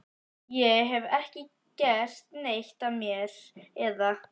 Ég hef ekki gert neitt af mér, eða.